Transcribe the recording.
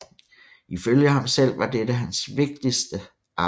Ifølge ham selv var dette hans vigtigste arbejde